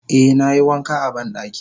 Eh nayi wanka a bandaki.